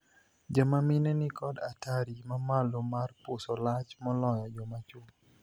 Joma mine ni kod atari mamalo mar puso lach moloyo joma chwo.